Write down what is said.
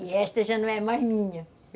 E esta já não é mais minha.